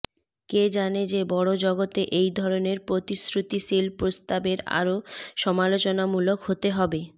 কে জানে যে বড় জগতে এই ধরনের প্রতিশ্রুতিশীল প্রস্তাবের আরো সমালোচনামূলক হতে হবে